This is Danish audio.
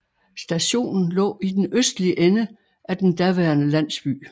Stationen lå i den østlige ende af den daværende landsby